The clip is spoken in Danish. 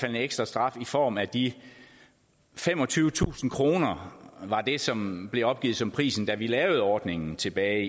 en ekstra straf i form af de femogtyvetusind kr som blev opgivet som prisen da vi lavede ordningen tilbage